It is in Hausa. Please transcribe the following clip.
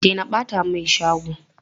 Stop littering my shop!